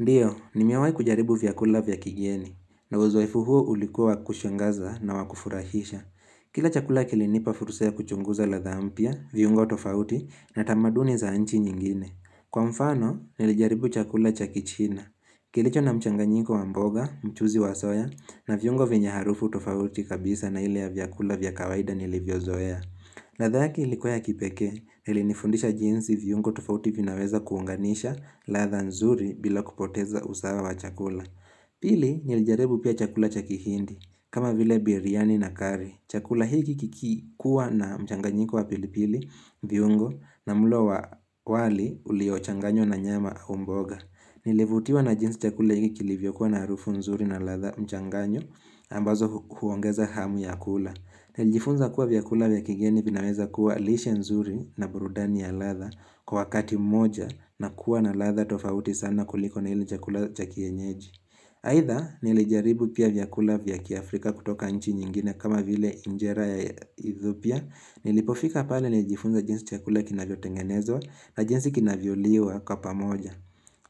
Ndiyo, nimewahi kujaribu vyakula vya kigeni, na uzoefu huo ulikuwa wa kushangaza na wa kufurahisha. Kila chakula kilinipa fursa ya kuchunguza ladhaa mpya, viungo tofauti na tamaduni za nchi nyingine. Kwa mfano, nilijaribu chakula cha kichina. Kilicho na mchanganyiko wa mboga, mchuuzi wa soya, na viungo vyenye harufu tofauti kabisa na ile ya vyakula vya kawaida nilivyozoea. Ladha yake ilikuwa ya kipekee, na ilinifundisha jinsi viungo tofauti vinaweza kuunganisha ladha nzuri bila kupoteza usawa wa chakula. Pili, nilijaribu pia chakula cha kihindi, kama vile biriani na curry. Chakula hiki kikikuwa na mchanganyiko wa pilipili, viungo, na mlo wa wali uliochanganywa na nyama au mboga. Nilivutiwa na jinsi chakula hiki kilivyokuwa na harufu nzuri na ladha mchanganyo, ambazo huongeza hamu ya kula. Nijifunza kuwa vyakula vya kigeni vinaweza kuwa lishe nzuri na burudani ya ladha kwa wakati moja na kuwa na ladha tofauti sana kuliko na ile chakula cha kienyeji. Aidha nilijaribu pia vyakula vya kia Afrika kutoka nchi nyingine kama vile injera ya Ethiopia pia nilipofika pale nijifunza jinsi chakula kinavyotengenezwa na jinsi kinavyoliwa kwa pamoja.